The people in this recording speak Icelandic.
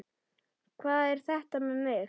Hvað er þetta með mig?